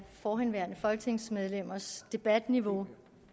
forhenværende folketingsmedlemmers debatniveau